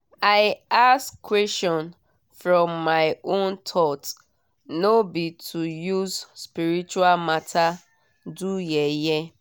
i ask question from my own thought no be to use spiritual matter do yeye